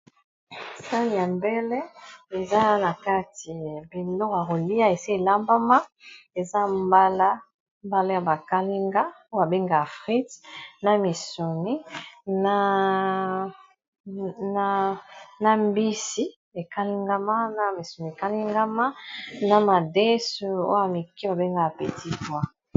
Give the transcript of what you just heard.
Sani ya mbele eza na kati biloko ya kolia esi elambama eza mbala ya ba kalinga oyo babenga frite na misuni na mbisi ekalingama na misuni ekalingama na madesu oyo ya mike oyo babengaka petit poid.